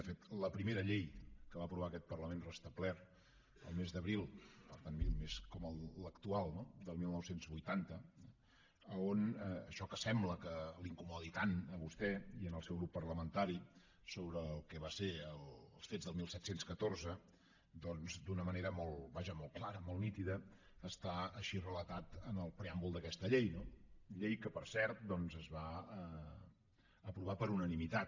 de fet la primera llei que va aprovar aquest parlament restablert el mes d’abril per tant mes com l’actual no del dinou vuitanta on això que sembla que els incomodi tant a vostè i al seu grup parlamentari sobre el que van ser els fets del disset deu quatre doncs d’una manera vaja molt clara molt nítida està així relatat en el preàmbul d’aquesta llei llei que per cert es va aprovar per unanimitat